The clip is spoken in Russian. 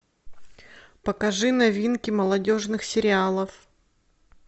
покажи новинки молодежных сериалов